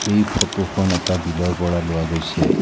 এই ফটোখন এটা বিলৰ পৰা লোৱা গৈছে।